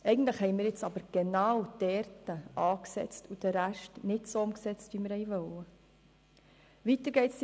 Eigentlich haben wir jetzt aber genau dort angesetzt und den Rest nicht so umgesetzt, wie wir es ursprünglich wollten.